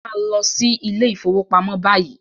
Màá lọ sí ilé ìfọwọ́pamo báyìí!